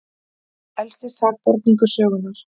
Elsti sakborningur sögunnar